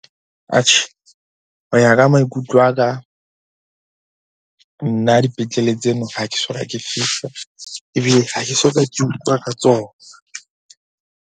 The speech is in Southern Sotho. Atjhe, ho ya ka maikutlo a ka. Nna dipetlele tseno ha ke soka ke fihla, ebile ha ke soka ke utlwa ka tsona.